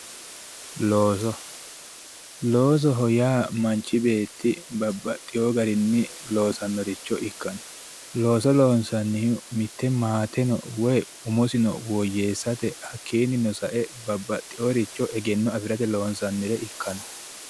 looso loosoho yaa manchi beetti babbaxeewo garinni loosannoricho ikkanna mitte maatesi woy umosinno hakkiinnino sae babbaxeworicho egenno afirate loonsannire ikkara dandaanno